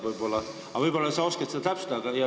Võib-olla sa oskad seda täpsustada?